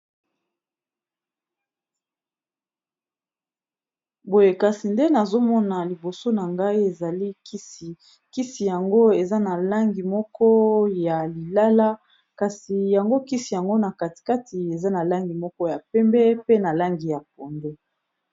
Boye kasi nde nazomona liboso na ngai ezali kisi, kisi yango eza na langi moko ya lilala kasi yango kisi yango na katikati eza na langi moko ya pembe pe na langi ya pondu.